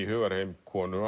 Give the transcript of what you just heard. hugarheim konu